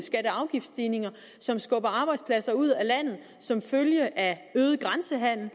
afgiftsstigninger som skubber arbejdspladser ud af landet som følge af øget grænsehandel